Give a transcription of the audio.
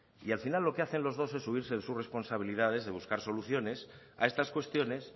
y al final lo que hacen los dos es subirse en sus responsabilidades de buscar soluciones a estas cuestiones